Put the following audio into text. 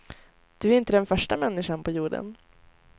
Du är inte den första människan på jorden.